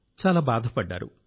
చాలా బాధపడ్డారు